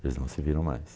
Eles não se viram mais.